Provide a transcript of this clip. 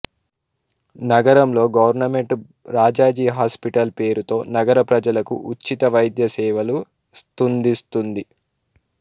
నగరంలో government Rajaji hospital పేరుతో నగర ప్రజలకు ఉచిత వైద్యసేవలు స్తుందిస్తుంది